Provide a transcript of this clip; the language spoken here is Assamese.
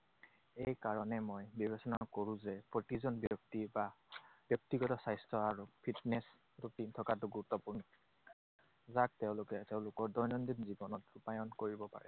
এইকাৰণে মই বিবেচনা কৰো যে প্ৰতিজন ব্যক্তি বা ব্যক্তিগত স্বাস্থ্য আৰু fitness routine থকাটো গুৰুত্বপূৰ্ণ। যাক তেওঁলোকে তেওঁলোকৰ দৈনন্দিন জীৱনত ৰূপায়ণ কৰিব পাৰে।